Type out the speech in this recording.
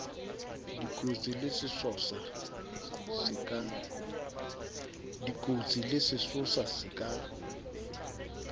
dikotsi le sesosa se ka